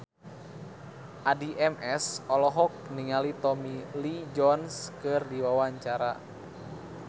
Addie MS olohok ningali Tommy Lee Jones keur diwawancara